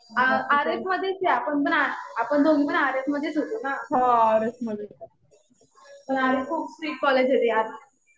आ RF मधेच आहे. आपण दोघीपण आर.एफ मधेच होतो ना. आर.एफ खूप स्ट्रिक्ट कॉलेज आहे बाई आता.